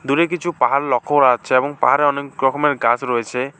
দূরে কিছু পাহাড় লক্ষ্য করা যাচ্ছে এবং পাহাড়ে অনেক রকমের গাছ রয়েছে।